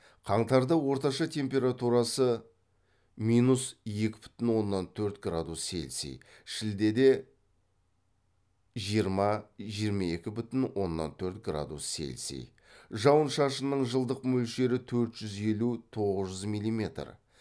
қаңтарда орташа температурасы минус екі бүтін оннан төрт градус селси шілдеде жиырма жиырма екі бүтін оннан төрт градус селси жауын шашының жылдық мөлшері төрт жүз елу тоғыз жүз милиметр